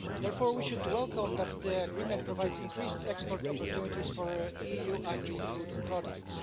Therefore, we should welcome that the agreement provides increased export opportunities for EU agri food products.